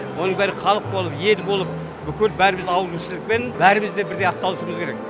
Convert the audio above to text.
оның бәрі халық болып ел болып бүкіл бәріміз ауызбіршілікпен бәріміз де бірдей атсалысуымыз керек